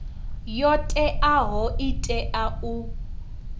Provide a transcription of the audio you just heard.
yo teaho i tea u